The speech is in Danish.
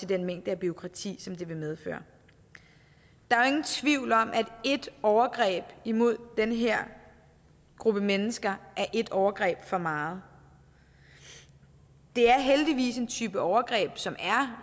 den mængde af bureaukrati som det vil medføre der er ingen tvivl om at ét overgreb imod den her gruppe mennesker er ét overgreb for meget det er heldigvis en type overgreb som er